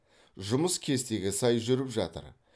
жұмыс кестеге сай жүріп жатыр